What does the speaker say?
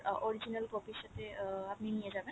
original copy র সাথে আপনি নিয়ে যাবেন